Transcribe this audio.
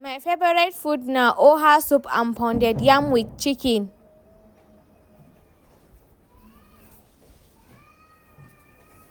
my favorite food na oha soup and pounded yam with chicken.